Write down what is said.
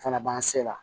Fana b'an se la